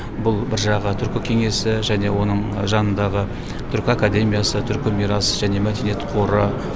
бұл бір жағы түркі кеңесі және оның жанындағы түркі академиясы түркі мирас және мәдениет қоры